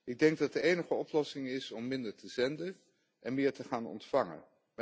Ik denk dat de enige oplossing is om minder te zenden en meer te gaan ontvangen.